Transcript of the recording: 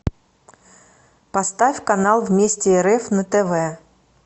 поставь канал вместе рф на тв